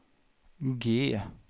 G